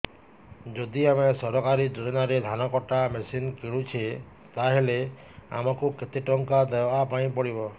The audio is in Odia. ଯଦି ଆମେ ସରକାରୀ ଯୋଜନାରେ ଧାନ କଟା ମେସିନ୍ କିଣୁଛେ ତାହାଲେ ଆମକୁ କେତେ ଟଙ୍କା ଦବାପାଇଁ ପଡିବ